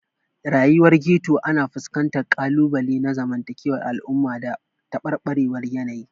Rayuwar Ghetto ana fuskantar ƙalubale na zamantakewar al'umma da tabarbarewar yanayi.